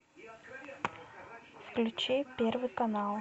включи первый канал